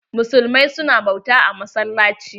Muslimai su na bauta a massalaci.